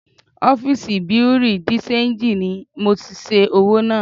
Ọ́fìsì Bùréú dì ṣenjì ni mo ti ṣẹ́ owó náà